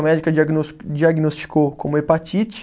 A médica diagnos diagnosticou como hepatite.